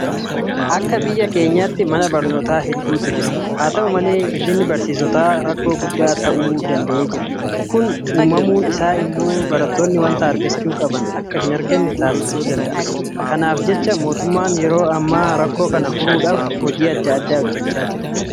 Akka biyya keenyaatti mana barnootaa hedduutu jira. Haata'u malee hir'inni barsiisotaa rakkoo guddaa ta'uu danda'eera. Kun uumamuun isaa immoo barattoonni waanta argachuu qaban akka hinarganne taasisuu danda'a. Kanaaf jecha mootummaan yeroo ammaa rakkoo kana furuudhaaf hojjechaa jira.